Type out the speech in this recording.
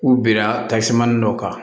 U binna tasuma dɔw kan